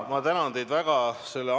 Ma tänan teid väga!